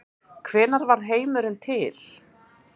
Hvenær varð heimurinn til?